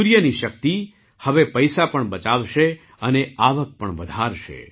સૂર્યની શક્તિ હવે પૈસા પણ બચાવશે અને આવક પણ વધારશે